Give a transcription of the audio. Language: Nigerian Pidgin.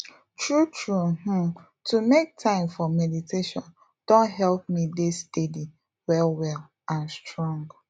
true true um to make time for meditation don help me dey steady well well and strong